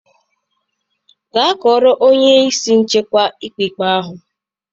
Gaa kọọrọ onye isi nchekwa ikpe ikpe ahụ.